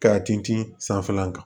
Ka ten ci sanfɛlan kan